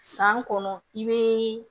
San kɔnɔ i be